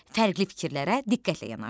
Fərqli fikirlərə diqqətlə yanaş.